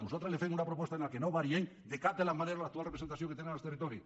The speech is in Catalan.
nosaltres els fem una proposta en què no variem de cap de les maneres l’actual representació que tenen els territoris